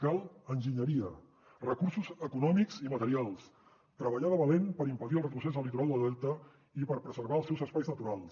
cal enginyeria recursos econòmics i materials treballar de valent per impedir el retrocés del litoral del delta i per preservar els seus espais naturals